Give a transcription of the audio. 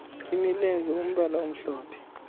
imilenze umbala omhlophe